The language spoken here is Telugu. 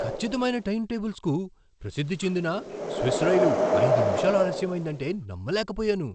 ఖచ్చితమైన టైంటేబుల్స్కు ప్రసిద్ధి చెందిన స్విస్ రైలు ఐదు నిమిషాలు ఆలస్యం అయిందంటే నమ్మలేకపోయాను.